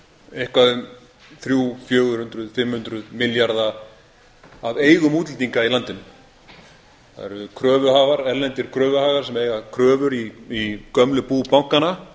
eitthvað um þrjú hundruð fjögur hundruð fimm hundruð milljarða af eigum útlendinga í landinu það eru kröfuhafar erlendir kröfuhafar sem eiga kröfur í gömlu bú bankanna